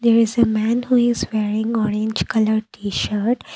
this man who is wearing orange colour T shirt.